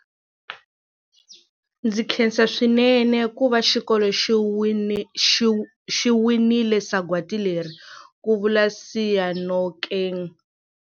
Ndzi khensa swinene ku va xikolo xi winile sagwadi leri, ku vula Seyanokeng.